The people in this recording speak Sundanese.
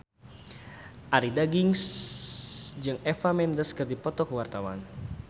Arie Daginks jeung Eva Mendes keur dipoto ku wartawan